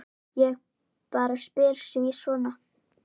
Ég bara spyr sí svona.